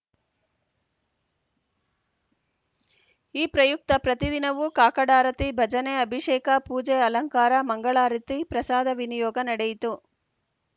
ಈ ಪ್ರಯುಕ್ತ ಪ್ರತಿ ದಿನವೂ ಕಾಕಡಾರತಿ ಭಜನೆ ಅಭಿಷೇಕ ಪೂಜೆ ಅಲಂಕಾರ ಮಂಗಳಾರತಿ ಪ್ರಸಾಧವಿನಿಯೋಗ ನಡೆಯಿತು